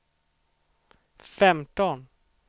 femton